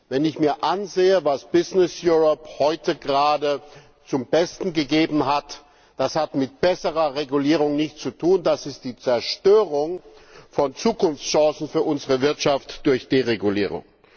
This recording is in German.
Wenn ich mir ansehe, was heute gerade zum Besten gegeben hat Das hat mit besserer Regulierung nichts zu tun, das ist die Zerstörung von Zukunftschancen für unsere Wirtschaft durch Deregulierung.